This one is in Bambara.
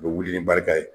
U bɛ wuli ni barika ye